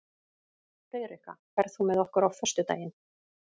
Friðrikka, ferð þú með okkur á föstudaginn?